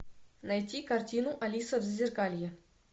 найти картину алиса в зазеркалье